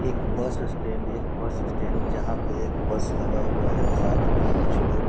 एक bus stand एक bus stand जहां पे बस लगा हुआ है साथ में कुछ लोग।